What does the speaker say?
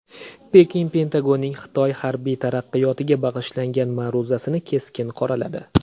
Pekin Pentagonning Xitoy harbiy taraqqiyotiga bag‘ishlangan ma’ruzasini keskin qoraladi.